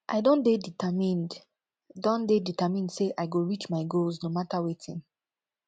i don dey determined don dey determined sey i go reach my goals no mata wetin